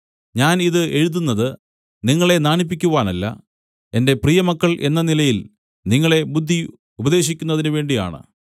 ഞാൻ ഇത് എഴുതുന്നത് നിങ്ങളെ നാണിപ്പിക്കുവാനല്ല എന്റെ പ്രിയമക്കൾ എന്ന നിലയിൽ നിങ്ങളെ ബുദ്ധി ഉപദേശിക്കുന്നതിനു വേണ്ടിയാണ്